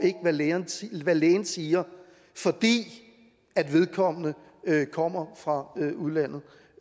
hvad lægen siger lægen siger fordi vedkommende kommer fra udlandet